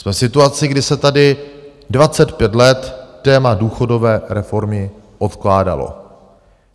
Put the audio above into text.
Jsme v situaci, kdy se tady 25 let téma důchodové reformy odkládalo.